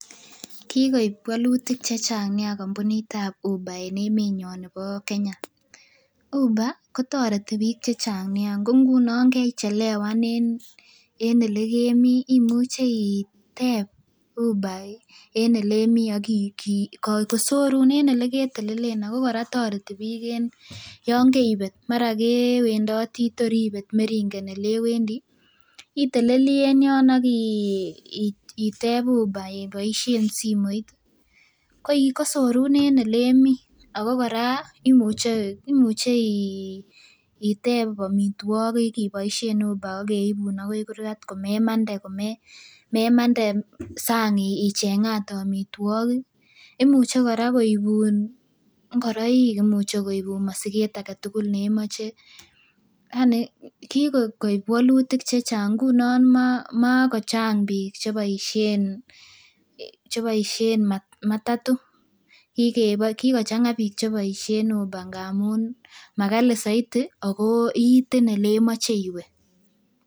Kikoib wolutik chechang nia kampunit ab uber en emenyon nebo Kenya uber kotoreti biik chechang Nia kou ngunon yan kechelewan en elekemii imuche itep uber en elemii ak kosorun en eleketelelen ako kora toreti biik yon keibet mara kewendoti tor ibet meringen elewendii itelelii en yon ak itep uber iboisien simoit kosorun en elemii ako kora imuche imuche itep amitwogik iboisien uber akeibun akoi kurgat komemande komemande sang icheng'ate amitwogik imuche kora koibun ng'ororik imuche koibun mosiket aketugul nemoche yani kikoib wolutik chechang ngunon makochang biik cheboisien cheboisien matatu kikochang'a biik cheboisien uber ngamun makali soiti ako iiten elemoche iwe